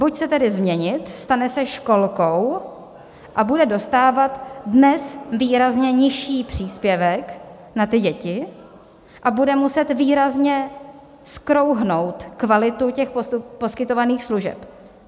Buď se tedy změnit, stane se školkou a bude dostávat dnes výrazně nižší příspěvek na ty děti a bude muset výrazně zkrouhnout kvalitu těch poskytovaných služeb.